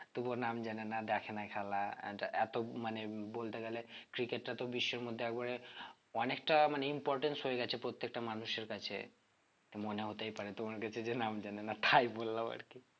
তবুও নাম জানেনা দেখেনা খেলা and এত মানে বলতে গেলে cricket টা তো বিশ্বের মধ্যে একবারে অনেকটা মানে importance হয়ে গেছে প্রত্যেকটা মানুষের কাছে তো মনে হতেই পারে যে তোমার কাছে যে নাম জানে না তাই বললাম আরকি